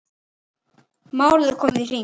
Málið er komið í hring.